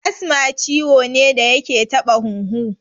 Asma ciwo ne da yake taɓa huhu